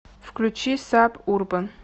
включи саб урбан